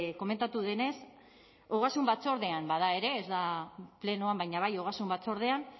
komentatu denez ogasun batzordean bada ere ez da plenoan baina bai ogasun batzordean